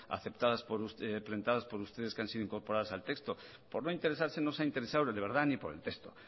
planteadas por ustedes que han sido incorporadas al texto por no interesarse no se ha interesado de verdad ni por el texto